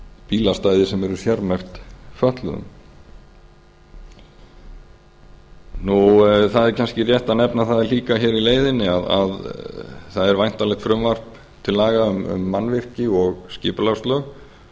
bílastæði sem eru sérmerkt fötluðum það er kannski rétt að nefna að líka hér í leiðinni að það er væntanlegt frumvarp til laga um mannvirki og skipulagslög